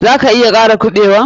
Za ka iya kara kuɓewan?